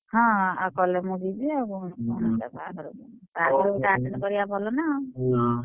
ହଁ ଆଉ କଲେ ମୁଁ ଯିବି ଆଉ କଣ ତା ବାହାଘର ଦିନ, ବାହାଘର ଗୋଟେ attend କରିବା ଭଲ ନା ଆଉ!